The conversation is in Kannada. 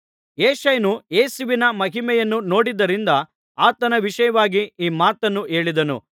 ಯೆಶಾಯನು ಯೇಸುವಿನ ಮಹಿಮೆಯನ್ನು ನೋಡಿದ್ದರಿಂದ ಆತನ ವಿಷಯವಾಗಿ ಈ ಮಾತನ್ನು ಹೇಳಿದನು